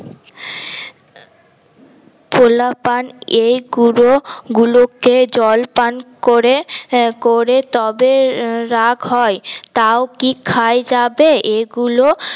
পোলাপান এগুলো গুলোকে জল পান করে করে তবে রাগ হয় তাও কি খায় যাবে এগুলো